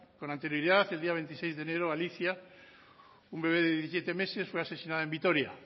con anterioridad el día veintiséis de enero alicia un bebé de diecisiete meses fue asesinada en vitoria